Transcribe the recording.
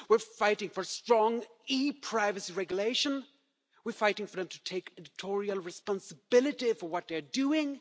We're fighting for strong e privacy regulation, and we're fighting for them to take editorial responsibility for what they're doing.